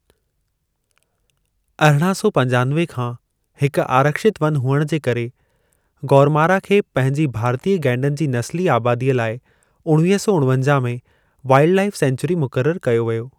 अरिड़हां सौ पंजानवे खां हिकु आरक्षित वन हुअण जे करे, गोरुमारा खे पंहिंजी भारतीय गैंडनि जी नस्ली आबादीअ लाइ उणवीह सौ उणवंजा में वाइल्डलाइफ़ सेंक्चुरी मुक़ररु कयो वियो।